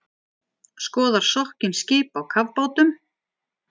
Skoðar sokkin skip á kafbátum